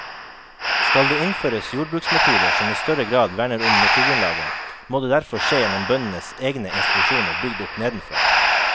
Skal det innføres jordbruksmetoder som i større grad verner om naturgrunnlaget, må det derfor skje gjennom bøndenes egne institusjoner bygd opp nedenfra.